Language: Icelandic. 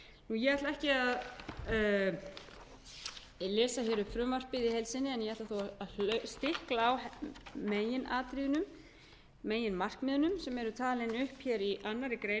ég ætla ekki að lesa hér upp frumvarpið í heild sinni en ég ætla þó að stikla á meginatriðunum meginmarkmiðunum sem eru talin upp í annarri grein